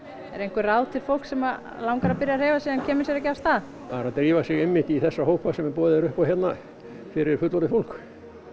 eru einhver ráð til fólks sem langar að byrja að hreyfa sig en kemur sér ekki af stað bara að drífa sig einmitt í þessa hópa hérna sem er boðið upp á fyrir fullorðið fólk